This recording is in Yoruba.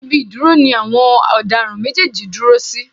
Ibi ìdúró ni àwọn ọ̀daràn méjèèjì dúró sí.